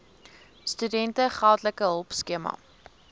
studente geldelike hulpskema